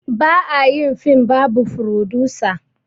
Ba a yin film babu frodusa